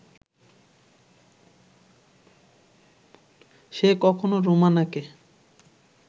সে কখনো রোমানাকে